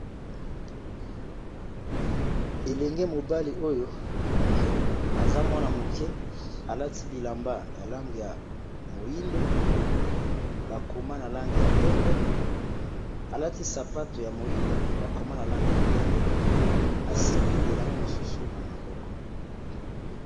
ELenge mobali oyo ! aza mwana moke alati bilamba ya lange, ya moyindo bakoma na lange , ya pembe alati sapato ya moyindo , bakoma na lange , ya pembe, asimbi elamba mosusu na maboko.